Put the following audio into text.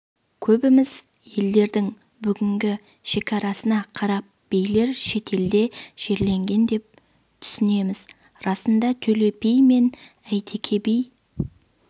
көбіміз елдердің бүгінгі шекарасына қарап билер шетелде жерленген деп түсінеміз расында төле би мен әйтеке би